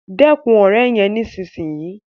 Dẹkun òré yén nísìsiyìí!